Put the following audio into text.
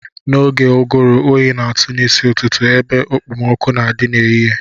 N'oge ụgụrụ oyi na-atụ n'isi ụtụtụ ebe ekpomọkụ́ na-adị n'ehihie